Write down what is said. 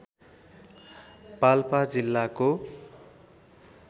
पाल्पा जिल्लाको